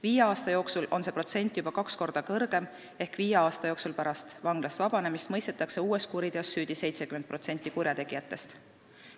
Viie aasta jooksul on see protsent juba kaks korda kõrgem ehk viie aasta jooksul pärast vanglast vabanemist mõistetakse uues kuriteos süüdi 70% kurjategijatest.